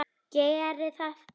Geri það!